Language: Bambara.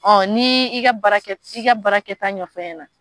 Ɔ ni i ka i ka baarakɛta nɔfɛ a ɲɛna